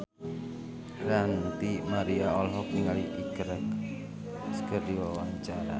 Ranty Maria olohok ningali Iker Casillas keur diwawancara